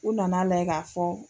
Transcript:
U nan'a lajɛ k'a fɔ.